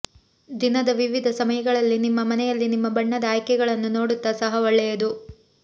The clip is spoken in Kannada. ದಿನದ ವಿವಿಧ ಸಮಯಗಳಲ್ಲಿ ನಿಮ್ಮ ಮನೆಯಲ್ಲಿ ನಿಮ್ಮ ಬಣ್ಣದ ಆಯ್ಕೆಗಳನ್ನು ನೋಡುತ್ತಾ ಸಹ ಒಳ್ಳೆಯದು